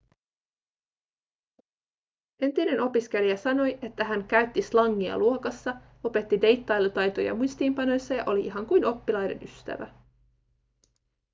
entinen opiskelija sanoi että hän käytti slangia luokassa opetti deittailutaitoja muistiinpanoissa ja oli ihan kuin oppilaiden ystävä